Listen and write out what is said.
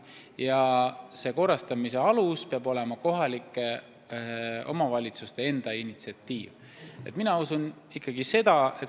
Ja aluseks peab olema kohalike omavalitsuste enda initsiatiiv.